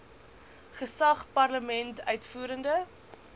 gesag parlement uitvoerende